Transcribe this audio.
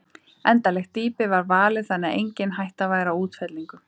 Endanlegt dýpi var valið þannig að engin hætta væri á útfellingum.